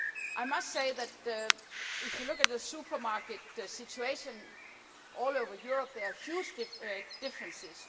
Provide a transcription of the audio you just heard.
I must say that, if you look at the supermarket situation all over Europe, there are huge differences.